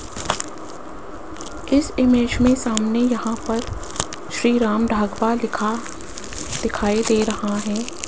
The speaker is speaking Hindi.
इस इमेज में सामने यहां पर श्री राम ढाबा लिखा दिखाई दे रहा है।